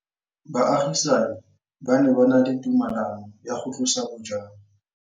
Baagisani ba ne ba na le tumalanô ya go tlosa bojang.